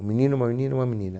Um menino, uma menina, uma menina.